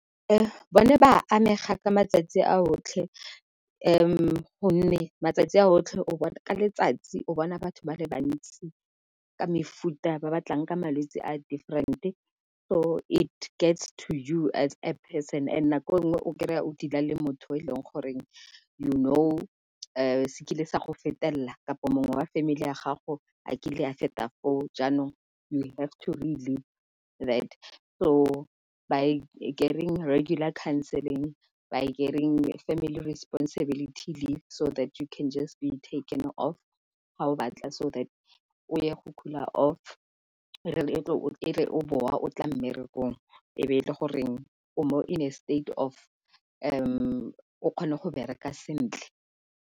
Bone ba amega ka matsatsi a otlhe gonne matsatsi a otlhe o bona, ka letsatsi o bona batho ba le bantsi ka mefuta ba batlang ka malwetsi a different-e. So it gets to you as a person and nako nngwe o kry-a o dealer le motho e leng goreng you know se kile sa go fetelela kampo mongwe wa family ya gago a kile a feta foo. Jaanong you have to that so by getting regulator counseling by getting family responsibility leave so that you can just be taken off ga o batla so that o ye go cooler off e re o boa o tla mmerekong e be e le goreng o mo in a state of o kgone go bereka sentle.